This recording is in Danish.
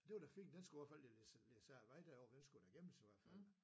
Det var da fint den skulle i hvert fald læsses af vejen derovre den skulle da gemmes i hvert fald